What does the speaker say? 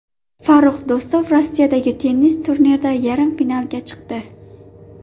Farrux Do‘stov Rossiyadagi tennis turnirida yarim finalga chiqdi.